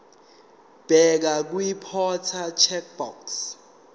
bheka kwiimporter checkbox